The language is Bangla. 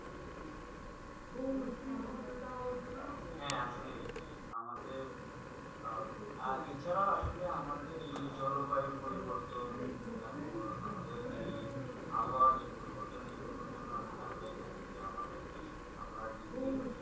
হেঁ আসলে আমাদের আর ছাড়া আসলে এই জলবায়ু পরিবর্তন তার পর আমাদের যে আবহাওয়া যেই পরিবর্তন ওর জন্য আসলে আমরা দায় আমরা দিন দিন